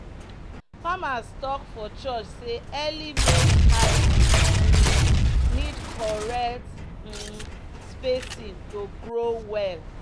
"farmers talk for church say early maize hybrid um need correct um spacing to grow well."